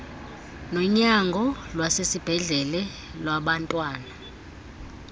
nonyango lwasesibhedlele lwabantwana